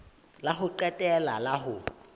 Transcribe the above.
la ho qetela la ho